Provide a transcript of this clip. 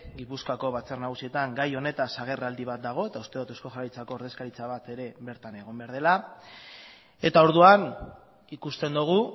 gipuzkoako batzar nagusietan gai honetaz agerraldi bat dago eta uste dut eusko jaurlaritzako ordezkaritza bat ere bertan egon behar dela eta orduan ikusten dugu